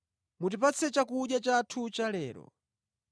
Mutipatse chakudya chathu chalero.